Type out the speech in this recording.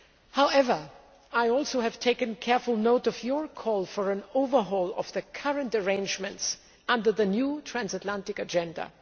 However, I have taken careful note of your call for an overhaul of the current arrangements under the new transatlantic agenda.